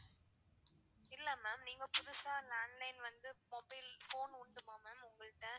இல்ல ma'am நீங்க புதுசா landline வந்து mobile phone உண்டுமா ma'am உங்கள்ட்ட